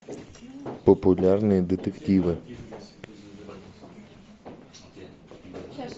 популярные детективы